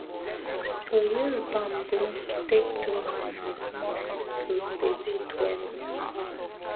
to use bambom take do hand for small farm tools dey good well well